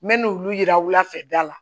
N bɛ n' olu yira wula fɛ da la